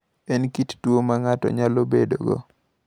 En kit tuwo ma ng’ato nyalo bedogo.